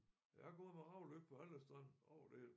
Jeg har gået med havlyk på alle strande over det hele